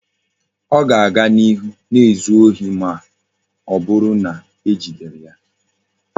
O ga-aga n'ihu na-ezu ohi ma oburu na ejideghi ya